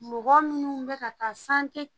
Mɔgɔ minnu bɛ ka taa santɛ